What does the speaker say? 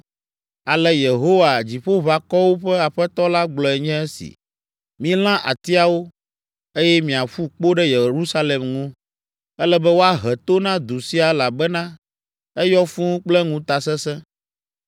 Ale Yehowa, Dziƒoʋakɔwo ƒe Aƒetɔ la gblɔe nye esi: “Milã atiawo, eye miaƒu kpo ɖe Yerusalem ŋu. Ele be woahe to na du sia elabena eyɔ fũu kple ŋutasesẽ.